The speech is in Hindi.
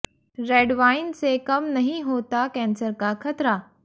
रेड वाइन से कम नहीं होता कैंसर का खतरा